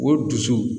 O dusu